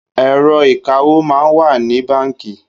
Èrò ikàwó mà n wà ni bànkí